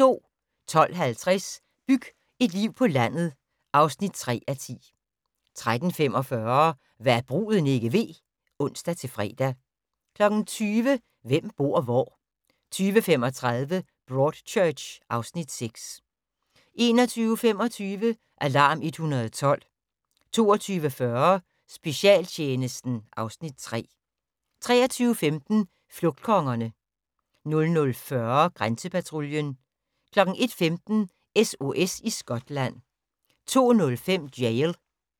12:50: Byg et liv på landet (3:10) 13:45: Hva' bruden ikke ved (ons-fre) 20:00: Hvem bor hvor? 20:35: Broadchurch (Afs. 6) 21:25: Alarm 112 22:40: Specialtjenesten (Afs. 3) 23:15: Flugtkongerne 00:40: Grænsepatruljen 01:15: SOS i Skotland 02:05: Jail